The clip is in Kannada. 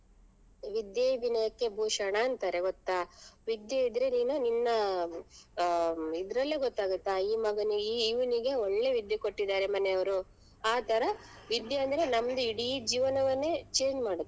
ವಿದ್ಯೆಯೇ ವಿನಯಕ್ಕೆ ಭೂಷಣ ಅಂತಾರೆ ಗೊತ್ತಾ ವಿದ್ಯೆ ಇದ್ರೆ ನೀನು ನಿನ್ನ ಅಹ್ ಇದ್ರಲ್ಲೇ ಗೂತ್ತಾಗತ್ತ ಈ ಮಗನಿಗೆ ಇ~ ಇವ್ನಿಗೆ ಒಳ್ಳೆ ವಿದ್ಯೆ ಕೊಟ್ಟಿದಾರೆ ಮನೆಯವ್ರು ಆತರ ವಿದ್ಯೆ ಅಂದ್ರೆ ನಮ್ದು ಇಡೀ ಜೀವನವನ್ನೇ change ಮಾಡುತ್ತೆ ಹಾಗಾಗಿ.